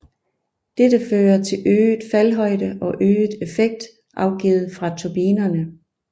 Dette fører til øget faldhøjde og øget effekt afgivet fra turbinerne